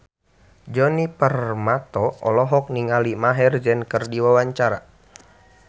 Djoni Permato olohok ningali Maher Zein keur diwawancara